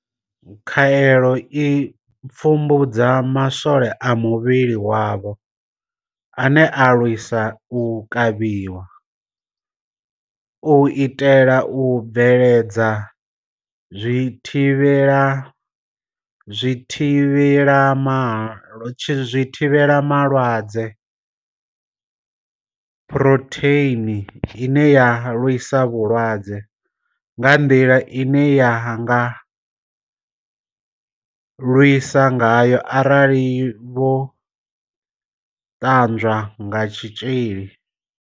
Khaelo i pfumbudza ma swole a muvhili wavho ane a lwisa u kavhiwa, u itela u bveledza zwithivhelama lwadze phurotheini ine ya lwisa vhulwadze nga nḓila ine ya nga lwisa ngayo arali vho ṱanwa kha tshitzhili.